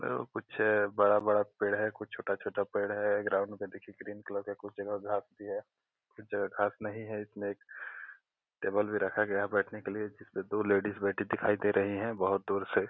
अ कुछ बड़ा-बड़ा पेड़ हैं कुछ छोटा-छोटा पेड़ हैं ग्राउंड पे देखिए ग्रीन कलर का कुछ जगह घास भी हैं कुछ जगह घास नहीं हैं इसमें टेबल भी रखा गया हैं बैठने के लिए जिसमें दो लेडीज भी बैठे दिखाई दे रही हैं बहुत दूर से --